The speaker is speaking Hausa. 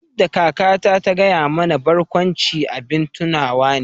Yadda kakata ta gaya mana barkwanci abin tunawa ne